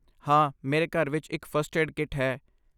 ਹਾਂ, ਮੇਰੇ ਘਰ ਵਿੱਚ ਇੱਕ ਫਸਟ ਏਡ ਕਿੱਟ ਹੈ।